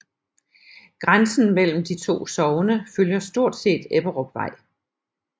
Grænsen mellem de to sogne følger stort set Ebberupvej